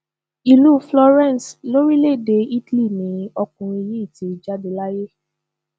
ìlú florence lórílẹèdè italy ni ọkùnrin yìí ti jáde láyé